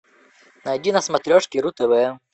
найди на смотрешке ру тв